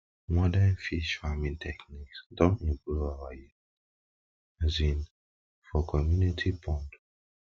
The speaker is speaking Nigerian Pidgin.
modern fish farming technique don improve our yield um for community pond um